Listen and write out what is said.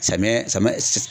Samiyɛ samiyɛ